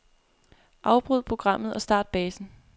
Afbryd programmet og start basen.